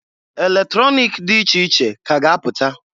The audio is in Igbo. Eletronik di iche iche ka a ga-apụta.